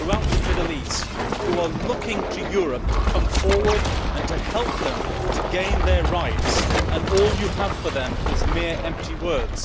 People throughout the Middle East are looking to Europe to come forward and help them to gain their rights, and all you have for them is empty words.